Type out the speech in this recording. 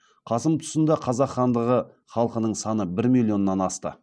қасым тұсында қазақ хандығы халқының саны бір миллионнан асты